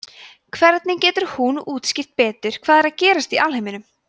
hvernig getur hún útskýrt betur hvað er að gerast í alheiminum